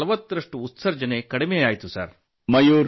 3540ರಷ್ಟು ಉತ್ಸರ್ಜನೆ ಕಡಿಮೆಯಾಯಿತು